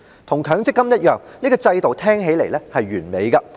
與強積金計劃一樣，這制度聽起來是完美的。